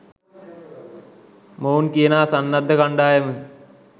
මොවුන් කියනා සන්නද්ධ කණ්‌ඩායම